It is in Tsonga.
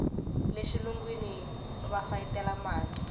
le xilungwini va fayetela mali